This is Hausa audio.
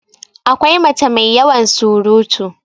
akwai mace mai yawan surutu